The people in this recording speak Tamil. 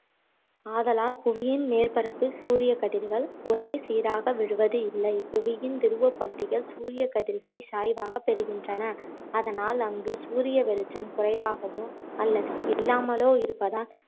ஆதலால் புவியின் மேற்பரப்பில் சூரியக் கதிர்கள் ஒரே சீராக விழுவது இல்லை புவியின் துருவப்பகுதிகள் சூரியகதிர்களை சாய்வாக பெறுகின்றன அதனால் அங்கு சூரிய வெளிச்சம் குறைவாகவோ அல்லது இல்லாமலோ இருப்பதால்